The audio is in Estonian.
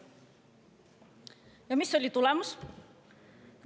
Ja mis oli tulemus?